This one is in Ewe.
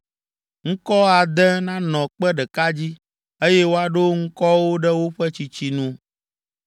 Ŋkɔ ade nanɔ kpe ɖeka dzi, eye woaɖo ŋkɔawo ɖe woƒe tsitsi nu.